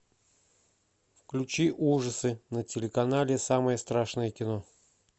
включи ужасы на телеканале самое страшное кино